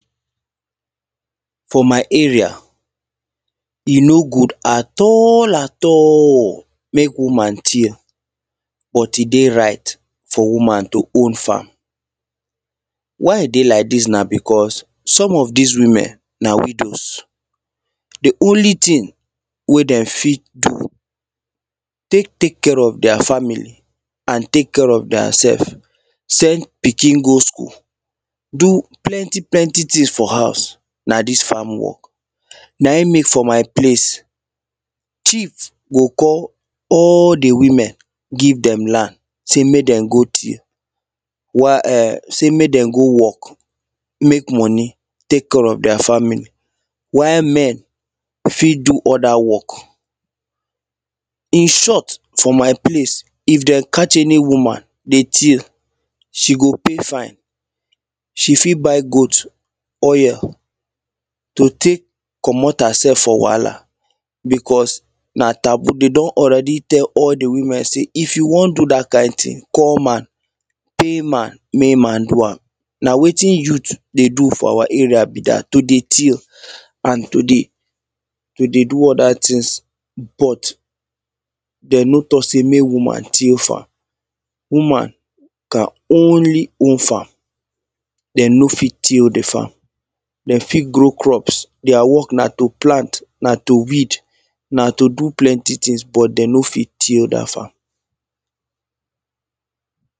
for my area e no good at all at all make woman till but e dey right for woman to own farm why e dey like this na because some of this women na widows the only thing wey they fit do take take care of their family and take care of theirself send pikin go school do plenty plenty things for house na this farm work na im make for my place king go call all the women give them land say make them go till, while um say make dem go work say make them go work make money take care of their family while men fit do other work in short for my place if they catch any woman dey till she go pay fine she fit buy goat, oil to take comot herself for wahala because na taboo they don already tell all the women say if you wan do that kind thing call man pay man make man do am na wetin youth dey do for our area be that to dey till and to dey to dey do other things but they no talk say make woman till farm woman can only own farm they no fit till the farm they fit grow crops their work na to plant na to weed na to do plenty things but they no fit till that farm